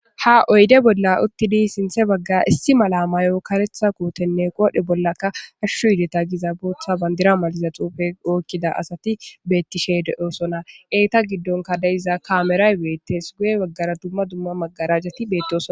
ha oyde bolla uttidi sinthe baggaa issi mala mayo karetha kotenne qoodhe bollakka hashshu yideta giza bootha bandira maliza xuufe ookkida asati bettishe de7osona eeta giddonka deiza kaameray beettes guye baggara dumma dumma maggarajati beettoo